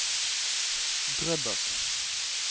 Drøbak